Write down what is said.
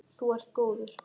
Þú ert góður.